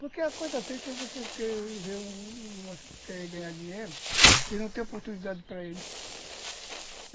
Porque a coisa triste é você querer ver, querer ganhar dinheiro e não ter oportunidade para ele.